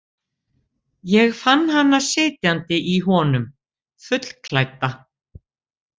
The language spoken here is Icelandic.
Ég fann hana sitjandi í honum, fullklædda.